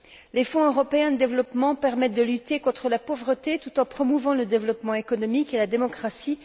Les Fonds européens de développement permettent de lutter contre la pauvreté, tout en promouvant le développement économique et la démocratie.